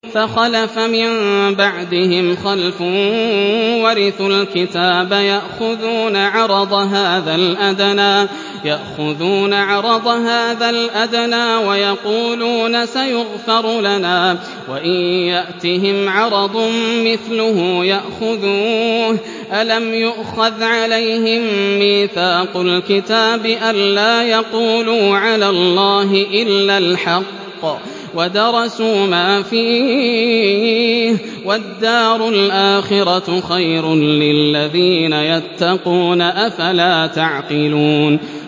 فَخَلَفَ مِن بَعْدِهِمْ خَلْفٌ وَرِثُوا الْكِتَابَ يَأْخُذُونَ عَرَضَ هَٰذَا الْأَدْنَىٰ وَيَقُولُونَ سَيُغْفَرُ لَنَا وَإِن يَأْتِهِمْ عَرَضٌ مِّثْلُهُ يَأْخُذُوهُ ۚ أَلَمْ يُؤْخَذْ عَلَيْهِم مِّيثَاقُ الْكِتَابِ أَن لَّا يَقُولُوا عَلَى اللَّهِ إِلَّا الْحَقَّ وَدَرَسُوا مَا فِيهِ ۗ وَالدَّارُ الْآخِرَةُ خَيْرٌ لِّلَّذِينَ يَتَّقُونَ ۗ أَفَلَا تَعْقِلُونَ